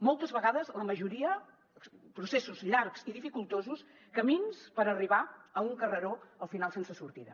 moltes vegades la majoria processos llargs i dificultosos camins per arribar a un carreró al final sense sortida